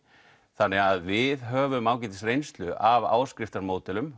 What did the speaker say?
þannig að við höfum ágætis reynslu af